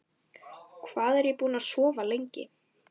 Hvað er ég búinn að sofa lengi?